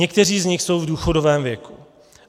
Někteří z nich jsou v důchodovém věku.